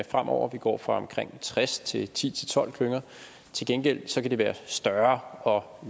fremover vi går fra omkring tres til ti til tolv klynger til gengæld kan de være større og